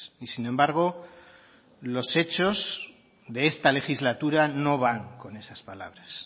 y sin embargo los hechos de esta legislatura no van con esas palabras